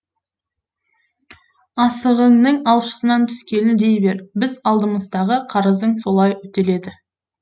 асығыңның алшысынан түскені дей бер біздің алдымыздағы қарызың солай өтеледі